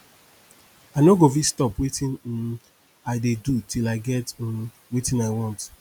i no go fit stop wetin um i dey do till i get um wetin i want